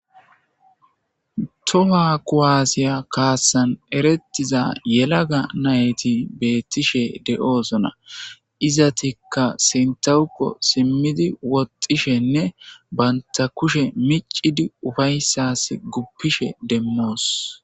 toha kowaasiya kaatsan erettiza yelaga nayti beettishe de7oosona izatikka sintawukko simmidi woxxishenne banta kushe micidi ufayssas guppishe demmoos